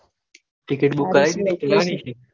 ticketbook કરાવી દીધી ક ના નીકળી